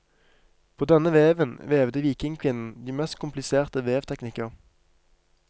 På denne veven vevde vikingkvinnen de mest kompliserte vevteknikker.